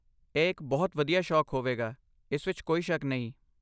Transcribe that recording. ਇਹ ਇੱਕ ਬਹੁਤ ਵਧੀਆ ਸ਼ੌਕ ਹੋਵੇਗਾ, ਇਸ ਵਿੱਚ ਕੋਈ ਸ਼ੱਕ ਨਹੀਂ।